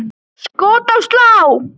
Skot í slá!